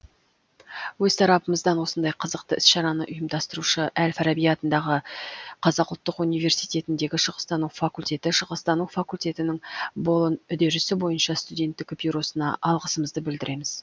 өз тарапымыздан осындай қызықты іс шараны ұйымдастырушы әл фараби атындағы қазақ ұлттық университетіндегі шығыстану факультеті шығыстану факультетінің болон үдерісі бойынша студенттік бюросына алғысымызды білдіреміз